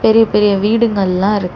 பெரிய பெரிய வீடுகள் எல்லா இருக்கு.